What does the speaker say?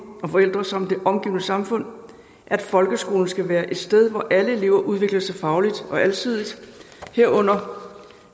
og forældre samt det omgivende samfund at folkeskolen skal være et sted hvor alle elever udvikler sig fagligt og alsidigt herunder